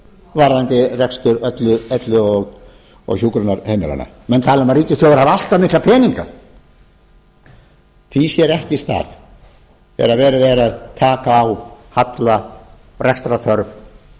varðandi rekstur elli og hjúkrunarheimilanna menn tala um að ríkissjóður hafi allt of mikla peninga því sér ekki stað þegar verið er að taka á halla rekstrarþörf og